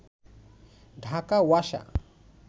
Dhaka Wasa